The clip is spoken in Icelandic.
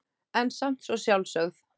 En samt svo sjálfsögð.